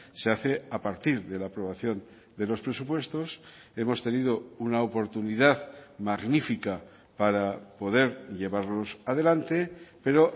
se hace a partir de la aprobación de los presupuestos hemos tenido una oportunidad magnífica para poder llevarlos adelante pero